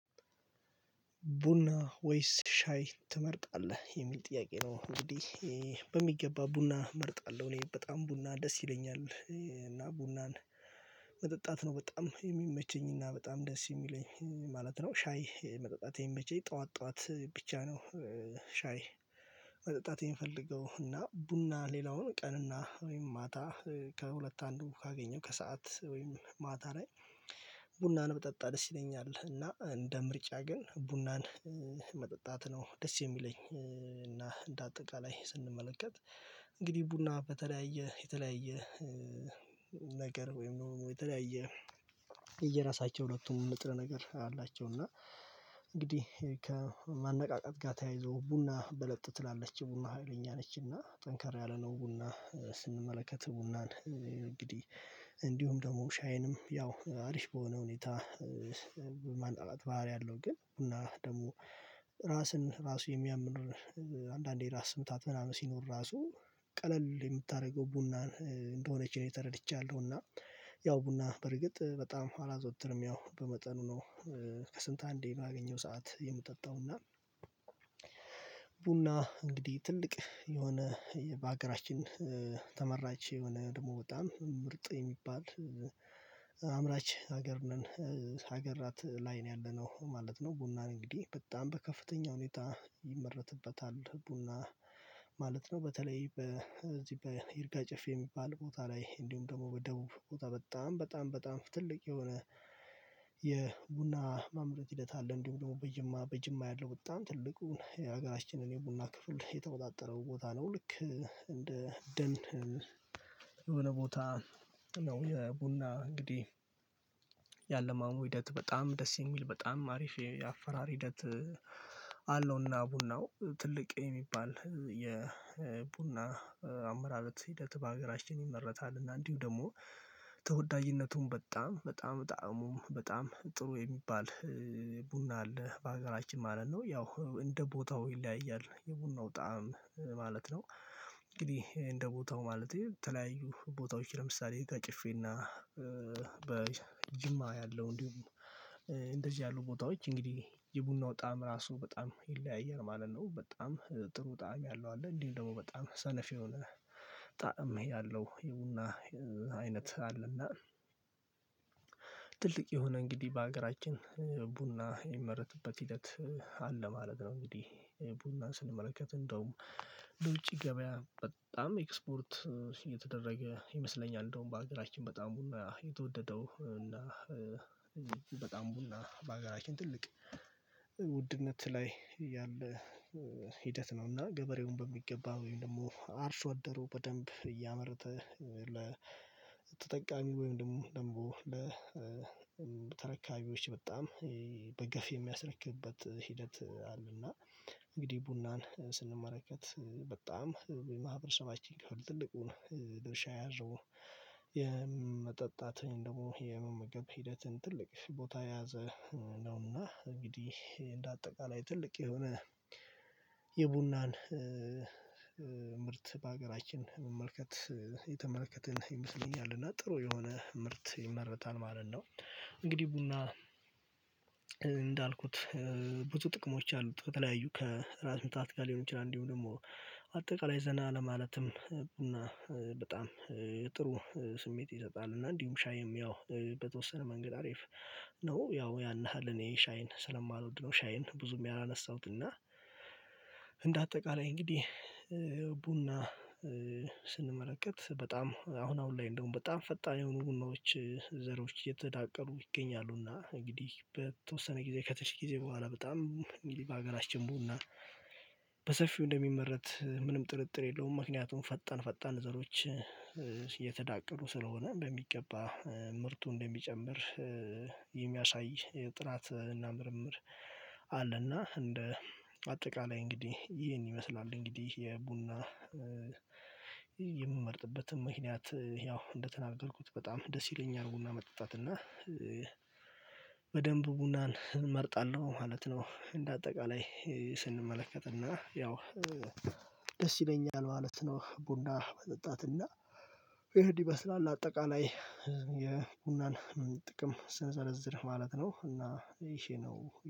ቡና ወይስ ሻይ ትመርጣለህ? የሚል ጥያቄ ነው እንግዲህ በሚገባ ቡና እመርጣለሁ እኔ በጣም ቡና ደስ ይለኛል እና ቡናን መጠጣት ነው በጣም የሚመቸኝና በጣም ደስ የሚለኝ ማለት ነው። ሻይ መጠጣት የሚመቸኝ ጠዋት ጠዋት ብቻ ነው ሻይ ማጠጣት የምፈልገው እና ቡና ሌላውን ቀን እና ወይም ማታ ከሁለት አንዱ ካገኘው ከሰአት ወይም ማታ ላይ ቡናን ብጠጣ ደስ ይለኛል እና እንደ ምርጫ ግን ቡናን መጠጣት ነው ደስ የሚለኝ እና እንደ አጠቃላይ ስንመለከት እንግዲህ ቡና በተለያየ የተለያየ ነገር ወይም የተለያየ እየራሳቸው ሁለቱም ምጥረ ነገር አላቸው እና እንግዲህ ከማነቃቃት ጋር ተያይዞ ቡና በለጥ ትላለች ቡና ሀይለኛ ነች እና ጠንካራ ያለነው ቡና ስንመለከት ቡናን እንግዲህ እንዲሁም ደግሞ ሻይንም ያው አሪፍ በሆነ ሁኔታ የማነቃቃት ባህሪ አለው ግን ቡና ደግሞ ራስን ራሱ የሚያምን አንዳንዴ ራስ ስታት ምናምን ሲኖር ራሱ ቀለል የምታደርገው ቡና እንደሆነች ነው ተረድቻለሁ እና ያው ቡና በርግጥ በጣም አላዘወትርም ያው በመጠኑ ነው ከስንት አንዴ ባገኘሁ ሰዓት የምጠጣው እና ቡና እንግዲህ ትልቅ የሆነ በሀገራችን ተመራጭ የሆነ ደግሞ በጣም ምርጥ የሚባል አምራች ሀገር ነን ሀገራት ላይ ነው ያለነው ማለት ነው። ቡናን እንግዲህ በጣም በከፍተኛ ሁኔታ ይመረትበታል ቡና ማለት ነው በተለይ በዚህ በይርጋጭፌ የሚባል ቦታ ላይ እንዲሁም ደግሞ በደቡብ ቦታ በጣም በጣም በጣም ትልቅ የሆነ የቡና ማምረት ሂደት አለ። እንዲሁም ደግሞ በጅማ በጅማ ያለው ወጣን ትልቁን የሀገራችንን የቡና ክፍል የተወጣጠረው ቦታ ነው ልክ እንደ ደን የሆነ ቦታ ነው የቡና እንግዲህ ያለማሙ ሂደት በጣም ደስ የሚል በጣም አሪፍ የአፈራር ሂደት አለውና ቡናው ትልቅ የሚባል የቡና አመራረለት ሂደት በሀገራችን ይመረታል እና እንዲሁ ደግሞ ተወዳጅነቱም በጣም በጣም ጣዕሙን በጣም ጥሩ የሚባል ቡና አለ በሀገራችን ማለት ነው። ያው እንደ ቦታው ይለያያል የቡናው ጣዕም ማለት ነው። እንግዲህ እንደ ቦታው ማለት ነው ተለያዩ ቦታዎች ለምሳሌ ይርጋ ጨፌና በጅማ ያለው እንዲሁም እንደዚህ ያሉ ቦታዎች እንግዲህ የቡናው ጣዕም ራሱ በጣም ይለያያል ማለት ነው በጣም ጥሩ ጣዕም ያለው አለ እንዲህ ደግሞ በጣም ሰነፊ የሆነ ጣዕም ያለው የቡና አይነት አለና ትልቅ የሆነ እንግዲህ በሀገራችን ቡና የሚመረትበት ሂደት አለ ማለት ነው። እንግዲህ ቡና ስንመለከት እንደውም ለውጪ ገበያ በጣም ኤክስፖርት እየተደረገ ይመስለኛል እንደውም በሀገራችን በጣም ቡና የተወደደው እና በጣም ቡና በሀገራችን ትልቅ ላይ ያለ ሂደት ነው እና ገበሬውን በሚገባ ወይም ደግሞ አርሶ አደሩ በደንብ እያመረተ ለተጠቃሚ ወይም ደግሞ ለተረካቢዎች በጣም በገፍ የሚያስረክብበት ሂደት አለና እንግዲህ ቡናን ስንመረከት በጣም ማህበረሰባችን ከፍል ትልቁን ድርሻ የያዘው የመጠጣት ወይም ደግሞ የመመገብ ሂደትን ትልቅ ቦታ የያዘ ነውና እንግዲህ እንደ አጠቃላይ ትልቅ የሆነ የቡናን ምርት በሀገራችን መመልከት የተመለከትን ይመስለኛል እና ጥሩ የሆነ ምርት ይመረታል ማለት ነው። እንግዲህ ቡና እንዳልኩት ብዙ ጥቅሞች አሉ። ከተለያዩ ከራስ ምታት ጋር ሊሆን ይችላል እንዲሁ ደግሞ አጠቃላይ ዘና ለማለትም ቡና በጣም ጥሩ ስሜት ይሰጣል እና እንዲሁም ሻይም ያው በተወሰነ መንገድ አሪፍ ነው ያው ያን ያህል እኔ ሻይን ስለማልወድ ነው ሻይን ብዙም ያላነሳሁት እና እንደ አጠቃላይ እንግዲህ ቡና ስንመለከት በጣም አሁን አሁን ላይ እንደውም በጣም ፈጣን የሆኑ ቡናዎች ዘሮች እየተዳቀሉ ይገኛሉና እንግዲህ በተወሰነ ጊዜ ከትንሽ ጊዜ በኋላ በጣም እንግዲህ በሀገራችን በሰፊው እንደሚመረት ምንም ጥርጥር የለውም ምክንያቱም ፈጠን ፈጣን ዘሮች እተዳቀሉ ስለሆነ በሚገባ ምርቱ እንደሚጨምር የሚያሳይ ጥናት እና ምርምር እንደ አጠቃላይ እንግዲህ ይህን ይመስላል እንግዲህ የቡና ምክንያት ያው እንደተናገርኩት በጣም ደስ ይለኛል ቡና መጠጣት እና በደንብ ቡናን እመርጣለሁ ማለት ነው እንደ አጠቃላይ ስንመለከት እና ያው ደስ ይለኛል ማለት ነው ቡና መጠጣት እና ይህን ይመስላል አጠቃላይ የቡናን ጥቅም ስንዘለዝር ማለት ነው እና ይሄ ነው።